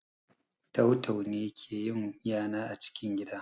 Tau-tau ne ke yin yana a cikin gida